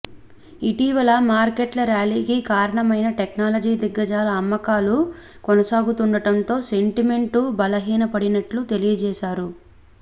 ఇటీవల మార్కెట్ల ర్యాలీకి కారణమైన టెక్నాలజీ దిగ్గజాలలో అమ్మకాలు కొనసాగుతుండటంతో సెంటిమెంటు బలహీనపడినట్లు తెలియజేశారు